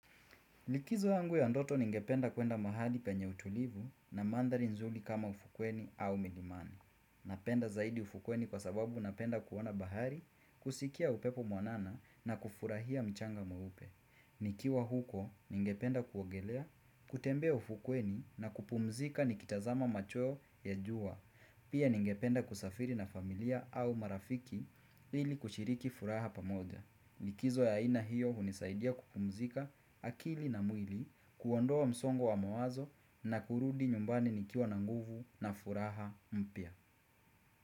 Likizo yangu ya ndoto ningependa kuenda mahali penye utulivu na mandhari nzuri kama ufukweni au milimani. Napenda zaidi ufukweni kwa sababu napenda kuona bahari, kusikia upepo mwanana na kufurahia mchanga mweupe. Nikiwa huko ningependa kuogelea, kutembea ufukweni na kupumzika nikitazama macho ya jua. Pia ningependa kusafiri na familia au marafiki ili kushiriki furaha pamoja. Likizo ya aina hiyo hunisaidia kupumzika akili na mwili, kuondoa msongo wa mawazo na kurudi nyumbani nikiwa na nguvu na furaha mpya.